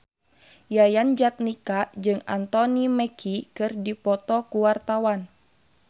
Yayan Jatnika jeung Anthony Mackie keur dipoto ku wartawan